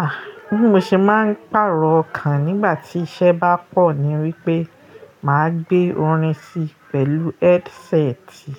Ah! Bí mo ṣe máa ń pàrọ̀ ọkàn nígbà tí iṣẹ́ bá pọ̀ ni wípé mà á gbé orin sí pẹ̀lú headseti